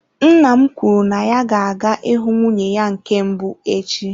Nna m kwuru na ya ga-aga ịhụ nwunye ya nke mbụ echi.